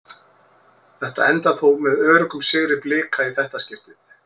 Þetta endar þó með öruggum sigri Blika í þetta skiptið.